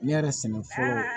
Ne yɛrɛ sɛgɛn